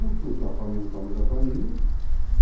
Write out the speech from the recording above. uma família do tamanho da família. Ah...